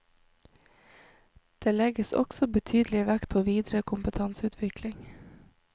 Det legges også betydelig vekt på videre kompetanseutvikling.